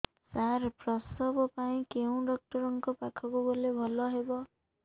ସାର ପ୍ରସବ ପାଇଁ କେଉଁ ଡକ୍ଟର ଙ୍କ ପାଖକୁ ଗଲେ ଭଲ ହେବ